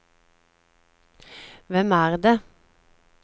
hvem er det